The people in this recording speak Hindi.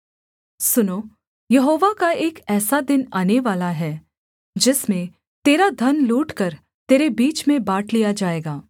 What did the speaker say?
सुनो यहोवा का एक ऐसा दिन आनेवाला है जिसमें तेरा धन लूटकर तेरे बीच में बाँट लिया जाएगा